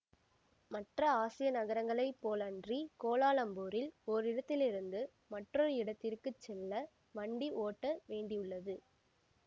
மற்ற ஆசிய நகரங்களைப் போலன்றி கோலாலம்பூரில் ஓரிடத்திலிருந்து மற்றொரு இடத்திற்கு செல்ல வண்டி ஓட்ட வேண்டியுள்ளது